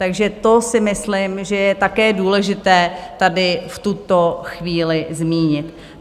Takže to si myslím, že je také důležité tady v tuto chvíli zmínit.